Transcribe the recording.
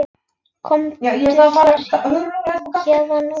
Komdu þér héðan út.